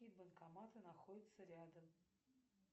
какие банкоматы находятся рядом